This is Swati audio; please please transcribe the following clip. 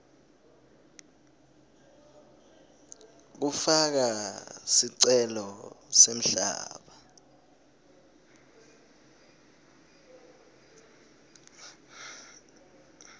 kufaka sicelo semhlaba